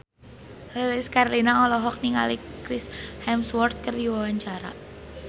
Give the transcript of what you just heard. Lilis Karlina olohok ningali Chris Hemsworth keur diwawancara